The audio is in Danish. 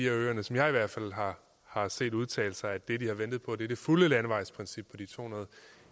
af øerne som jeg i hvert fald har set udtale sig at det de har ventet på er det fulde landevejsprincip på de to hundrede og